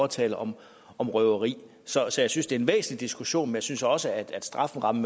taler om røveri så så jeg synes det er en væsentlig diskussion men jeg synes også at strafferammen